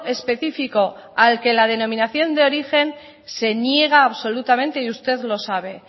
específico al que la denominación de origen se niega absolutamente